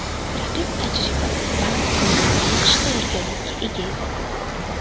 Raqib tajribali, baland bo‘yli va yaxshi tayyorgarlikka ega edi.